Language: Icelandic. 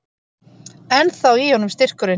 Ennþá í honum styrkurinn.